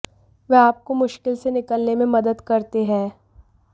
वह आपको मुश्किल से निकलने में मदद करते हैं